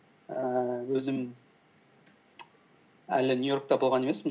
ііі өзім әлі нью йоркта болған емеспін